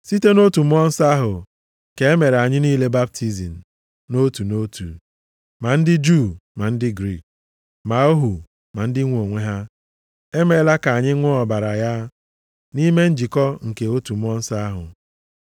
Site nʼotu Mmụọ Nsọ ahụ ka e mere anyị niile baptizim nʼotu nʼotu, ma ndị Juu ma ndị Griik, ma ohu ma ndị nwe onwe ha. E meela ka anyị ṅụọ ọbara ya, nʼime njikọ nke otu Mmụọ Nsọ ahụ.